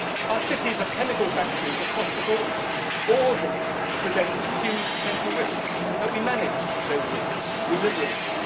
our cities have chemical factories across the board, all of them present huge potential risks, but we manage those risks, we live with them.